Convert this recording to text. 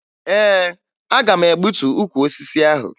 Ee, aga m egbutu ukwu osisi ahụ